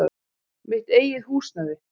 Mitt eigið húsnæði.